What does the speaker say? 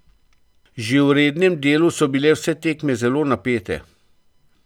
Že v rednem delu so bile vse tekme zelo napete.